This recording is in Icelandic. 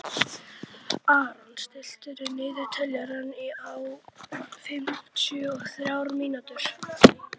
Aron, stilltu niðurteljara á fimmtíu og þrjár mínútur.